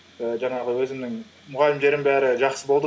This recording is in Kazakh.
ііі жаңағы өзімнің мұғалімдерім бәрі жақсы болды